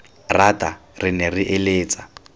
rata re ne re eletsa